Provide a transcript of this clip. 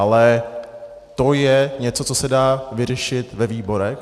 Ale to je něco, co se dá vyřešit ve výborech.